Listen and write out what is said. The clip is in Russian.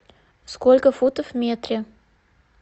сколько футов в метре